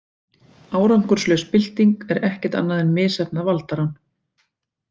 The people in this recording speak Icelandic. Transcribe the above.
Árangurslaus bylting er ekkert annað en misheppnað valdarán.